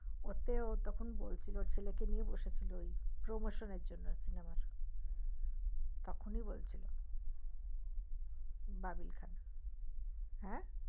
ওতে ও তখন বলছিল ওর ছেলে কে নিয়ে বসে ছিলো ওই promotion জন্য cinema তখন এ বলছিলো ববিন খান হ্যা